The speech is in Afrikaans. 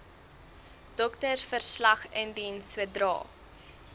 doktersverslag indien sodra